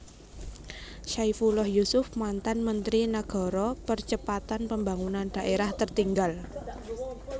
Saifullah Yusuf mantan Menteri Nagara Percepatan Pembangunan Daerah Tertinggal